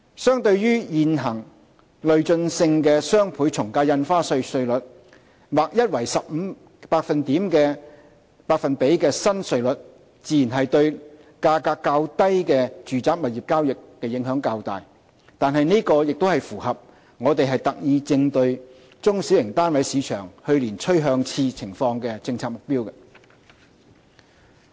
相對現行累進性的雙倍從價印花稅稅率，劃一為 15% 的新稅率自然對價格較低的住宅物業交易影響較大，但這亦符合我們特意應對中小型單位市場去年趨向熾熱情況的政策目標。